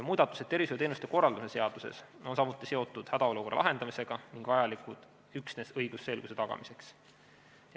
Muudatused tervishoiuteenuste korraldamise seaduses on samuti seotud hädaolukorra lahendamisega ning vajalikud üksnes õigusselguse tagamiseks.